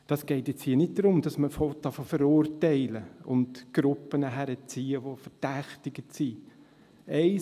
Es geht jetzt hier nicht darum, dass man zu verurteilen und Gruppen heranzuziehen beginnt, die verdächtigt werden.